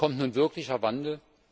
Kommt nun wirklicher Wandel?